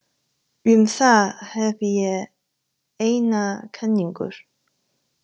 Um það hef ég eina kenningu.